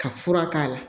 Ka fura k'a la